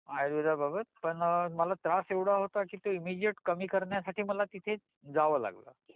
आयुर्वेदाबाबत, पण मला त्रास एवढा होता कि ते एमिजीएट कमी करण्यासाठी मला तिथे जावा लागल